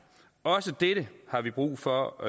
også dette har vi brug for